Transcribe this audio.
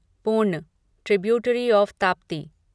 पूर्न tributary of Tapti